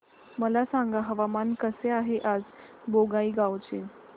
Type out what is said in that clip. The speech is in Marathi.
मला सांगा हवामान कसे आहे आज बोंगाईगांव चे